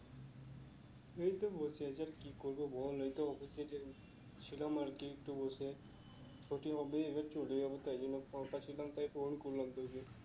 এই তো বসে আছি আর কি করবো বল এই তো office এ যে ছিলাম আর কি তো বসে আছি ছুটি হবে এবার চলে যাবো তাই জন্য ফাঁকা ছিলাম তাই phone করলাম তোকে